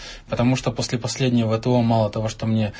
потому что после последнего того мало того что мне